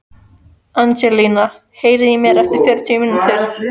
Angelína, heyrðu í mér eftir fjörutíu mínútur.